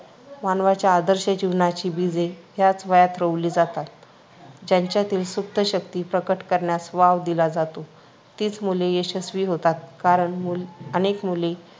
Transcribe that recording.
मानवाच्या आदर्श जीवनाची बीजे याच वयात रोवली जातात. ज्यांच्यातील सुप्त शक्ती प्रकट करण्यास वाव दिला जातो, तीच मुले यशस्वी होतात. कारण मूल अनेक मुले